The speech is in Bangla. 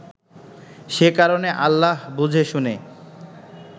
সে কারণে আল্লাহ বুঝে শুনে